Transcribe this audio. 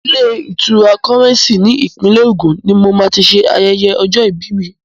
Ilé-ìtura Kọ́rẹ́ńsì ní ìpínlẹ̀ Ògùn ni mo ti máa ṣe ayẹyẹ ọjọ́-ìbí mi.